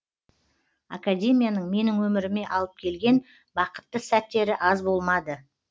академияның менің өміріме алып келген бақытты сәттері аз болмады